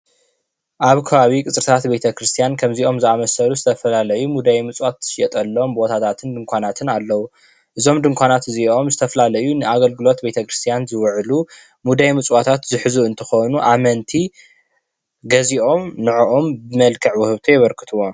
ኣብ ኸባቢ ቀፅርታት ቤተክርስትያን ከሞዚኦም ዝአመሰሉ ዝተፈላለዩ ሙዳይ ምፅዋት ዝሽየጠሎም ቦታታትን ድንኳናትን ኣለው። እዞም ድንካናት እዚኦም ዝተፈላላአዩ ንኣገልግሎት ቤተ ክርስቲያን ዝውዕሉ ሙዳይ ምፅዋት ዝሕዙ እንትኮኑ ኣመንቲ ገዚኦም ነዐኦም ብመልክዕ ውህብቶ የበርክትዎም።